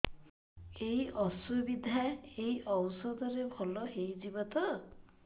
ଏଇ ଅସୁବିଧା ଏଇ ଔଷଧ ରେ ଭଲ ହେଇଯିବ ତ